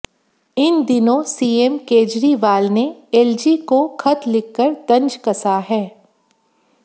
इन दिनों सीएम केजरीवाल ने एलजी को ख़त लिखकर तंज कसा है